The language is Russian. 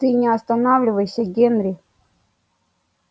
ты не останавливайся генри